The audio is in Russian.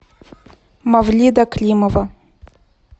мавлида климова